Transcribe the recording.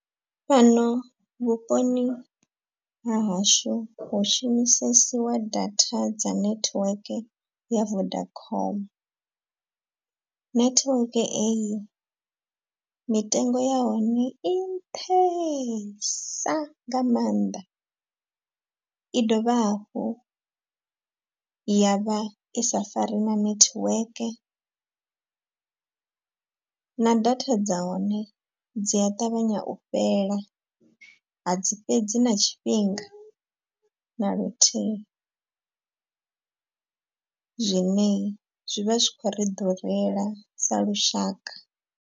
Fhano vhuponi ha hashu hu shumisesiwa data dza netiweke ya vodacom. Network eyi mitengo ya hone i nṱhesa nga maanḓa. I dovha hafhu ya vha i sa fari na network, na data dza hone dzi a ṱavhanya u fhela a dzi fhedzi na tshifhinga na luthihi . Zwine zwi vha zwi khou ri ḓurela sa lushaka.